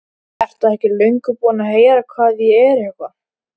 Ertu ekki löngu búinn að heyra hvað ég er eitthvað.